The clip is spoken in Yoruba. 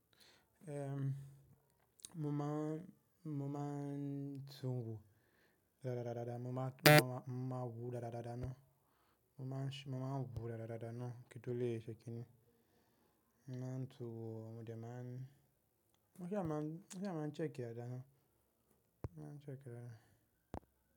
Ehn, mo máa, mo máa ń tun wo, dáda dáda, mo máa, mo máa wo dáda dáda náà, mo máa ń, mo máa ń wo dáda dáda náà kí n tó le ṣe kíni. Mo máa ń tun wo, mò jẹ́ máa ń Mo ṣá máa ń, mo ṣá máa ń check e dada ná, mo máa ń check e dada.